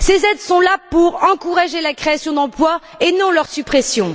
Ces aides sont là pour encourager la création d'emplois et non leur suppression.